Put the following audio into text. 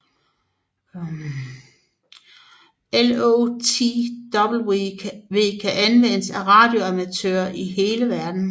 LoTW kan anvendes af radioamatører i hele verden